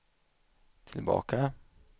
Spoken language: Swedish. tillbaka